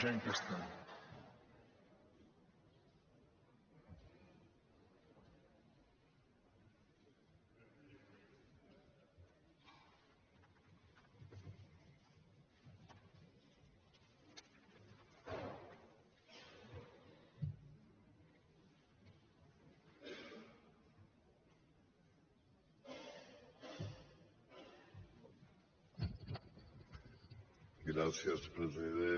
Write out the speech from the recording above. gràcies president